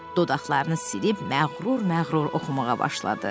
Dodaqlarını silib məğrur-məğrur oxumağa başladı.